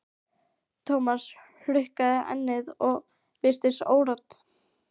Thomas hrukkaði ennið og virtist órótt.